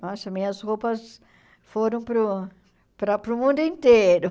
Nossa, minhas roupas foram para o para para o mundo inteiro.